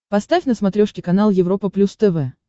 поставь на смотрешке канал европа плюс тв